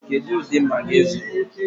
Kedụ ụdị Magị ị zụrụ?